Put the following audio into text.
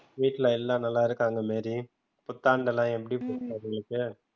வீட்ல எல்லாம் நல்லா இருக்காங்க மேரி புத்தாண்டு எல்லாம் எப்படி போச்சு உங்களுக்கு?